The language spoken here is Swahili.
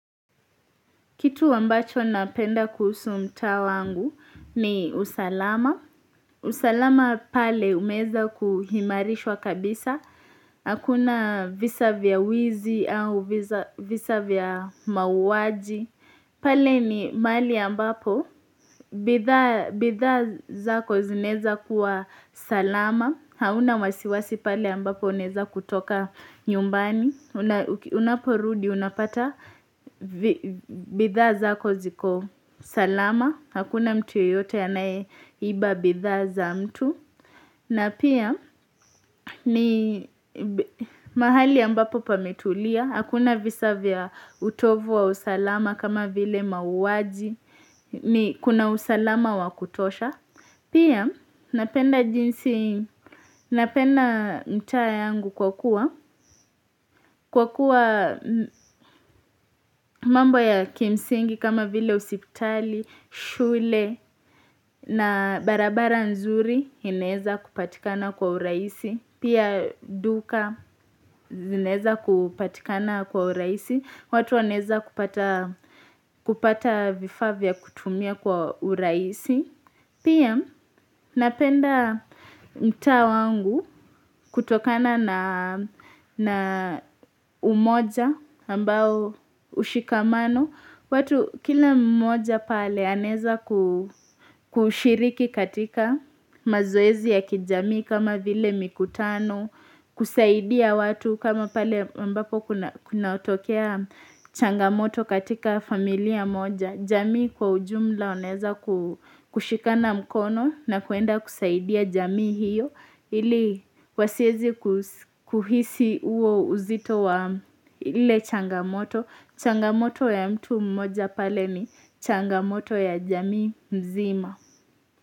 Kitu wambacho napenda kuhusu mta wangu ni usalama. Usalama pale umeza kuhimarishwa kabisa. Hakuna visa vya wizi au visa vya mauwaji. Pale ni mali ambapo. Bitha zako zineza kuwa salama. Hauna wasiwasi pale ambapo uneza kutoka nyumbani. Unaporudi unapata bidha zako ziko salama hakuna mtu yeyote anae iba bidha za mtu na pia ni mahali ambapo pametulia, hakuna visa vya utovu wa usalama kama vile mauwaji ni kuna usalama wakutosha pia napenda jinsi napenda mta yangu kwa kuwa kwa kuwa mambo ya kimsingi kama vile osiptali, shule na barabara nzuri ineza kupatikana kwa uraisi. Pia duka ineza kupatikana kwa uraisi. Watu waneza kupata vifa vya kutumia kwa uraisi. Pia napenda mta wangu kutokana na umoja ambao ushikamano. Kila mmoja pale aneza kushiriki katika mazoezi ya kijami kama vile mikutano. Kusaidia watu kama pale ambapo kuna tokea changamoto katika familia moja. Jamii kwa ujumla waneza kushikana mkono na kuenda kusaidia jamii hiyo Ili wasiezi kuhisi uo uzito wa ile changamoto Changamoto ya mtu mmoja pale ni changamoto ya jamii mzima.